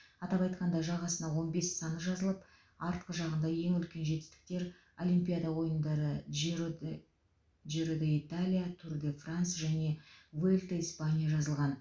атап айтқанда жағасына он бес саны жазылып артқы жағында ең үлкен жетістіктер олимпиада ойындары джирод джиро д италия тур де франс және вуэльта испания жазылған